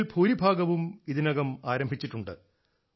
ഇതിൽ ഭൂരിഭാഗവും ഇതിനകം ആരംഭിച്ചിട്ടുണ്ട്